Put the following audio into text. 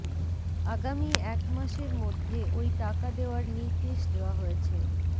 আগামী এক মাসের মধ্যে ওই টাকা দেওয়ার নির্দেশ দেওয়া হয়েছে